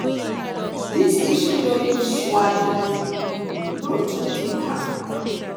this issue no fit swallow you no too think am